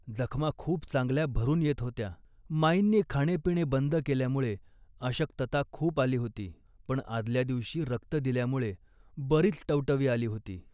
जखमा खूप चांगल्या भरून येत होत्या. माईंनी खाणेपिणे बंद केल्यामुळे अशक्तता खूप आली होती, पण आदल्या दिवशी रक्त दिल्यामुळे बरीच टवटवी आली होती